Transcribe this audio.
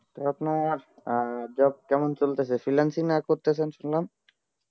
তো আপনার job কেমন চলতেছে freelancing না করতেছেন শুনলাম